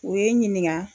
U ye n ɲininka